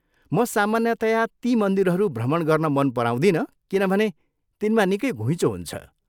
म सामान्यतया ती मन्दिरहरू भ्रमण गर्न मन पराउँदिनँ किनभने तिनमा निकै घुइँचो हुन्छ।